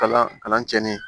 Kalan kalan cɛnni